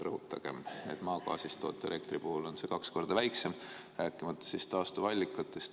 Rõhutagem, et maagaasist toodetava elektri puhul on see kaks korda väiksem, taastuvallikatest rääkimata.